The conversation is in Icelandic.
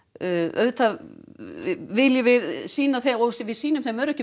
auðvitað viljum við sýna þeim og við sýnum þeim öryrkjum